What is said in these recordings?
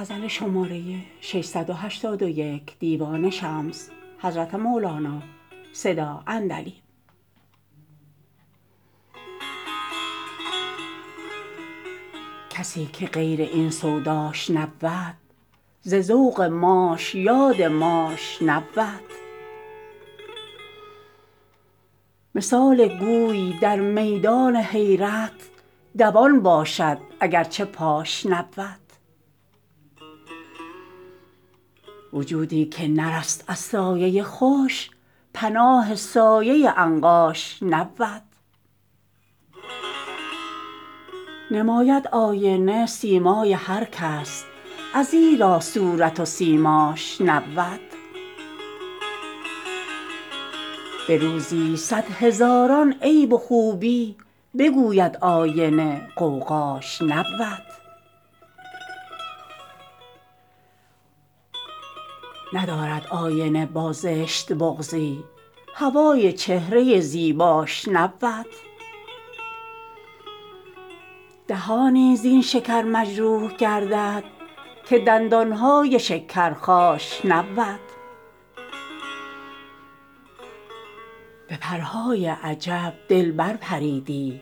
کسی که غیر این سوداش نبود ز ذوق ماش یاد ماش نبود مثال گوی در میدان حیرت دوان باشد اگر چه پاش نبود وجودی که نرست از سایه خوش پناه سایه عنقاش نبود نماید آینه سیمای هر کس ازیرا صورت و سیماش نبود به روزی صد هزاران عیب و خوبی بگوید آینه غوغاش نبود ندارد آینه با زشت بغضی هوای چهره زیباش نبود دهانی زین شکر مجروح گردد که دندان های شکر خاش نبود به پرهای عجب دل بر پریدی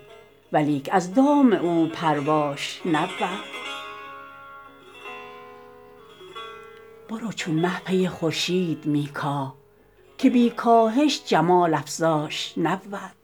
ولیک از دام او پرواش نبود برو چون مه پی خورشید می کاه که بی کاهش جمال افزاش نبود